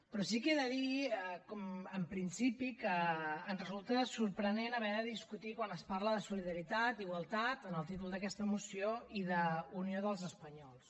però sí que he de dir en principi que ens resulta sorprenent haver de discutir quan es parla de solidaritat i igualtat en el títol d’aquesta moció i d’unió dels espanyols